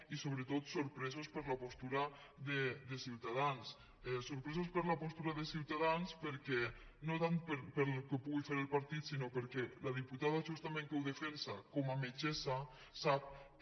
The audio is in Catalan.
i sobretot sorpresos per la postura de ciutadans sorpresos per la postura de ciutadans no tant pel que pugui fer el partit sinó perquè la diputada justament que ho defensa com a metgessa sap que